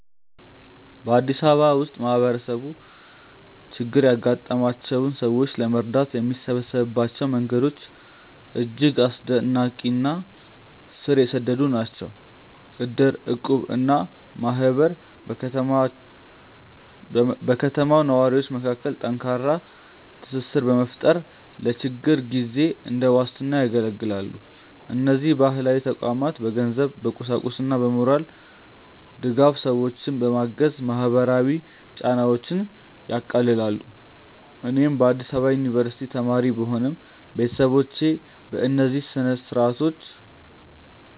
በአዲስ አበባ ውስጥ ማህበረሰቡ ችግር ያጋጠማቸውን ሰዎች ለመርዳት የሚሰበሰብባቸው መንገዶች እጅግ አስደናቂ እና ስር የሰደዱ ናቸው። እድር፣ እቁብ እና ማህበር በከተማው ነዋሪዎች መካከል ጠንካራ ትስስር በመፍጠር ለችግር ጊዜ እንደ ዋስትና ያገለግላሉ። እነዚህ ባህላዊ ተቋማት በገንዘብ፣ በቁሳቁስና በሞራል ድጋፍ ሰዎችን በማገዝ ማህበራዊ ጫናዎችን ያቃልላሉ። እኔም በአዲስ አበባ ዩኒቨርሲቲ ተማሪ ብሆንም፣ ቤተሰቦቼ በእነዚህ ስርአቶች